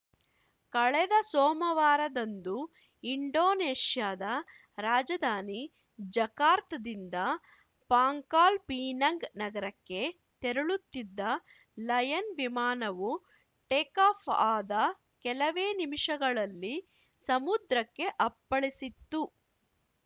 ಕಳೆದ ಸೋಮವಾರದಂದು ಇಂಡೋನೇಷ್ಯಾದ ರಾಜಧಾನಿ ಜಕಾರ್ತಾದಿಂದ ಪಾಂಕಾಲ್‌ ಪಿನಂಗ್‌ ನಗರಕ್ಕೆ ತೆರಳುತ್ತಿದ್ದ ಲಯನ್‌ ವಿಮಾನವು ಟೇಕಾಫ್‌ ಆದ ಕೆಲವೇ ನಿಮಿಷಗಳಲ್ಲಿ ಸಮುದ್ರಕ್ಕೆ ಅಪ್ಪಳಿಸಿತ್ತು